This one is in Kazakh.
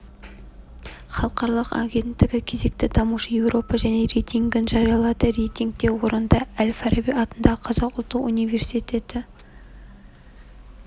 халықаралық агенттігі кезекті дамушы еуропа және рейтингін жариялады рейтингте орынды әл-фараби атындағы қазақ ұлттық университеті